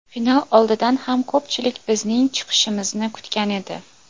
Final oldidan ham ko‘pchilik bizning chiqishimizni kutgan edi.